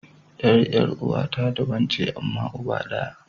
Yar uwa 'yar uwa ta daban ce amma uba ɗaya.